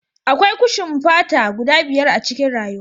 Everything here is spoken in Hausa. Akwai kushin fata guda biyar a cikin rayuwa